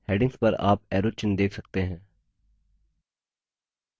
headings पर आप arrow चिन्ह देख सकते हैं